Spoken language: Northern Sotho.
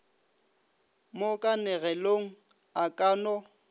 mo kanegelong a ka no